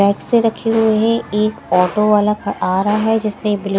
rack से रखे हुए है एक ऑटो वाला आ रहा है जिसने ब्लू --